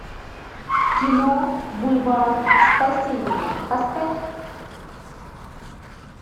кино бульвар спасения поставь